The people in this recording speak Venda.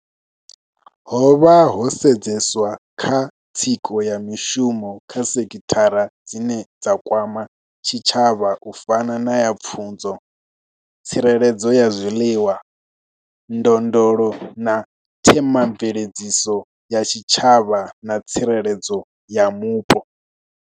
Ho vha ho sedzeswa kha tsiko ya mishumo kha sekithara dzine dza kwama tshitshavha u fana na ya pfunzo, tsireledzo ya zwiḽiwa, ndondolo na themamveledziso ya tshitshavha na tsireledzo ya mupo.